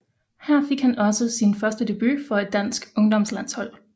Her fik han også sin første debut for et dansk ungdomslandshold